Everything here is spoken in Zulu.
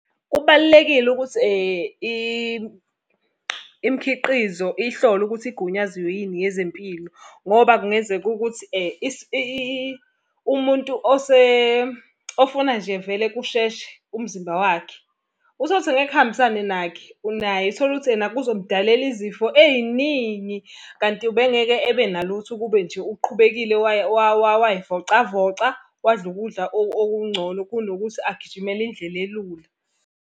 Kubalulekile ukuthi imkhiqizo ihlolwe ukuthi igunyaziwe yini yezempilo. Ngoba kungenzeka ukuthi umuntu ofuna nje vele kusheshe umzimba wakhe. Uthole ukuthi ngeke kuhambisane nakhe naye, uthole ukuthi ena kuzomdalela izifo ey'ningi. Kanti ube ngeke ebe nalutho ukube nje uqhubekile way'vocavoca, wadla ukudla okungcono kunokuthi agijimele indlela elula.